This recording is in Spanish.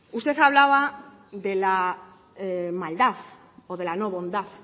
usted hablaba de la maldad o de la no bondad